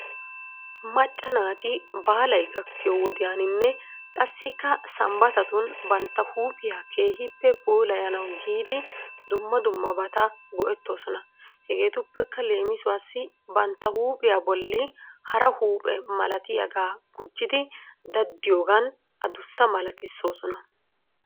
Macca naati baalay gakkiyoo wodiyaaninne qasikka sambbatatun bantta heephphiyaa keehhippe puulayanaw giidi dumma dummabata go'etoosona. Hegeetuppekka leemisuwaasi bantta huuphphiyaa bolli hara huuphe malatiyaaga gujjidi daddiyoogan adussa malatisoosona.